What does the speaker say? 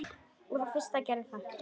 Og þá fyrst gerðist það.